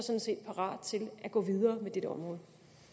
parat til at gå videre med dette område